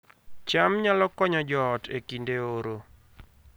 cham nyalo konyo joot e kinde oro